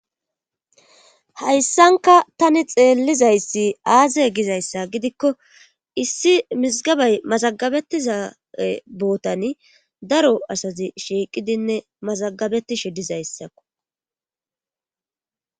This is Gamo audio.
hayssanka tani xeellizayssi aaze gizayssa gidikko issi mizgabay mazagabetiza bootani daro asazi shiiqidinne mazagabetishe dizayssakko